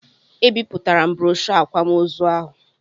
Ebipụtara m broshoo akwamozu ahụ.